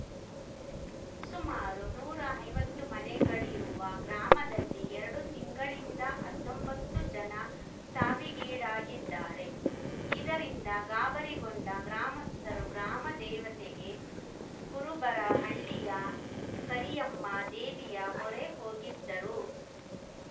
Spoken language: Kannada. ಸುಮಾರು ನೂರಾ ಐವತ್ತು ಮನೆಗಳಿರುವ ಗ್ರಾಮದಲ್ಲಿ ಎರಡು ತಿಂಗಳಿಂದ ಅತ್ತೊಂಬತ್ತು ಜನ ಸಾವಿಗೀಡಾಗಿದ್ದಾರೆ ಇದರಿಂದ ಗಾಬರಿಗೊಂಡ ಗ್ರಾಮಸ್ಥರು ಗ್ರಾಮ ದೇವತೆಗೆ ಕುರುಬರಹಳ್ಳಿಯ ಕರಿಯಮ್ಮ ದೇವಿಯ ಮೊರೆ ಹೋಗಿದ್ದರು